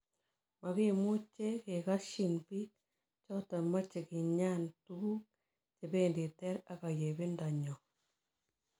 Makimuche kekasyin biik choton mache kinyan tukuk chebendi ter ak ayebindo nyon